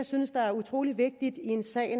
synes er utrolig vigtigt i en sag